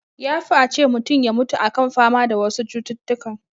Ya fi a ce mutun ya mutu a kan fama da wasu cututtukan